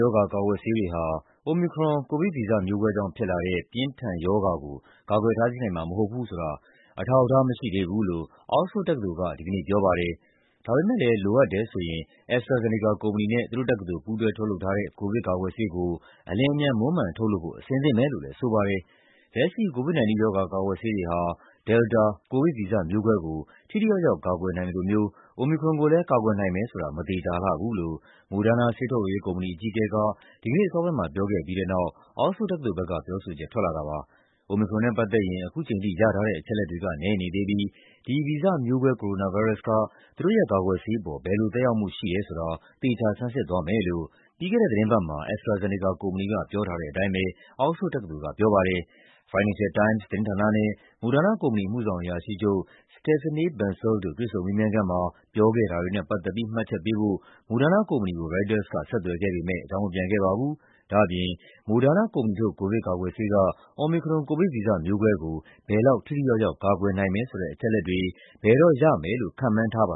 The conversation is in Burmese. ရောဂါ ကာကွယ်ဆေးတွေဟာ Omicron ကိုဗစ်ဗီဇမျိုးကွဲကြောင့်ဖြစ်လာတဲ့ ပြင်းထန်ရောဂါကို ကာကွယ်တားဆီးနိုင်မှာ မဟုတ်ဘူးဆိုတာ အထောက်အထားမရှိသေးဘူးလို့ Oxford တက္ကသိုလ်က ဒီကနေ့ပြောပါတယ်။ ဒါပေမယ့်လည်း လိုအပ်တယ်ဆိုရင် AstraZeneca ကုမ္ပဏီနဲ့ သူတို့တက္ကသိုလ် ပူးတွဲထုတ်လုပ်ထားတဲ့ ကိုဗစ်ကာကွယ်ဆေးကို အလျင်အမြန် မွမ်းမံထုတ်လုပ်ဖို့ အဆင်သင့်ပဲလို့လည်း ဆိုပါတယ်။ လက်ရှိ COVID-19 ရောဂါ ကာကွယ်ဆေးတွေဟာ Delta ကိုဗစ် ဗီဇမျိုးကွဲကို ထိထိရောက်ရောက် ကာကွယ်နိုင်သလိုမျိုး Omicron ကိုလည်း ကာကွယ်နိုင်မယ်ဆိုတာ မသေချာလှဘူးလို့ Moderna ဆေးထုတ်လုပ်ရေးကုမ္ပဏီ အကြီးအကဲက ဒီကနေ့အစောပိုင်းမှာ ပြောခဲ့ပြီးတဲ့နောက် Oxford တက္ကသိုလ်ဘက် က ပြောဆိုချက် ထွက်လာတာပါ။ Omicron နဲ့ပတ်သက်ရင် ခုချိန်ထိ ရထားတဲ့အချက်အလက်တွေက နည်းနေသေးပြီး ဒီဗီဇမျိုးကွဲ ကိုရိုနာဗိုင်းရပ်စ်က သူတို့ရဲ့ကာကွယ်ဆေးအပေါ် ဘယ်လိုသက်ရောက်မှု ရှိတယ်ဆိုတာ သေချာဆန်းစစ်သွားမယ်လို့ ပြီးခဲ့တဲ့သီတင်းပတ်မှာ AstraZeneca ကုမ္ပဏီက ပြောထားတဲ့အတိုင်း Oxford တက္ကသိုလ်ကပြောပါတယ်။ Financial Times သတင်းဌာနနဲ့ Moderna ကုမ္ပဏီ အမှုဆောင်အရာရှိချုပ် Stéphane Bancel တို့ တွေ့ဆုံမေးမြန်းခန်းမှာ ပြောခဲ့တာတွေနဲ့ပတ်သက်ပြီး မှတ်ချက်ပေးဖို့ Moderna ကုမ္ပဏီကို ရိုက်တာက ဆက်သွယ်ခဲ့ပေမယ့် အကြောင်းမပြန်ခဲ့ပါဘူး။ ဒါ့အပြင် Moderna ကုမ္ပဏီထုတ် ကိုဗစ်ကာကွယ်ဆေးက Omicron ကိုဗစ်ဗီဇမျိုးကွဲကို ဘယ်လောက် ထိထိရောက်ရောက် ကာကွယ်နိုင်တယ်ဆိုတဲ့ အချက်အလက်တွေ ဘယ်တော့ရမယ်လို့ ခန့်မှန်းထားပါ